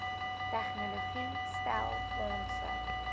tegnologie stel fondse